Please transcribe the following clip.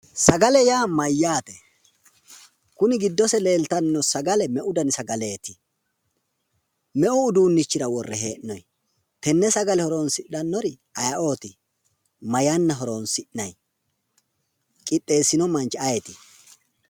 Sagale yaa mayyaate? Kuni giddose leeltanni noo sagale meu dani sagaleeti? Meu uduunnichira worre hee'noyi? Tenne sagale horoonsidhannori ayiooti? Ma yanna horoonsi'nanni? Qixxeessino manchi ayeeti?